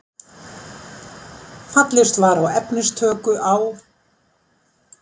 Fallist var á efnistöku á